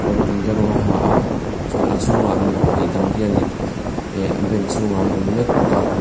kawr dumde rawng a ha a chuan a chhungah mipahnih dang hianin eh bank chhungah an awm mek bawka.